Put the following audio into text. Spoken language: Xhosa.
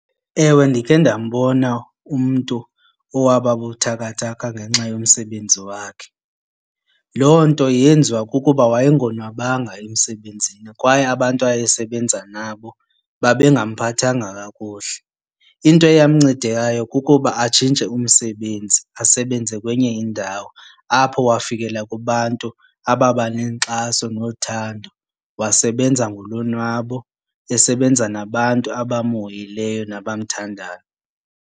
Ewe, ndikhe ndambona umntu owaba buthakathaka ngenxa yomsebenzi wakhe. Loo nto yenziwa kukuba waye ngonwabanga emsebenzini kwaye abantu awayesebenza nabo babe ngamphathanga kakuhle. Into eyamnceda ngayo kukuba atshintshe umsebenzi asebenze kwenye indawo. Apho wafikela kubantu ababa nenkxaso nothando, wasebenza ngolonwabo esebenza nabantu abamhoyileyo nabamthandayo.